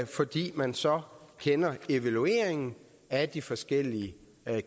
fordi man så kender evalueringen af de forskellige